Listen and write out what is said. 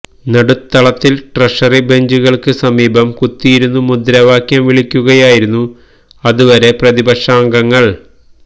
നടുത്തളത്തിൽ treasury ബഞ്ചുകൾക്ക് സമീപം കുത്തിയിരുന്നു മുദ്രവാക്യം വിളിക്കുകയായിരുന്നു അതുവരെ പ്രതിപക്ഷാംഗങ്ങൾ